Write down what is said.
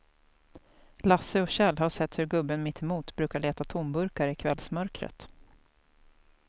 Lasse och Kjell har sett hur gubben mittemot brukar leta tomburkar i kvällsmörkret.